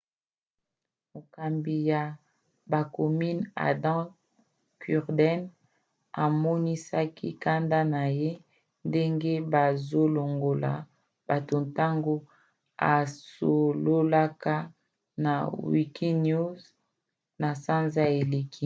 mokambi ya bacommunes adam cuerden amonisaki kanda na ye ndenge bazolongola bato ntango asololaka na wikinews na sanza eleki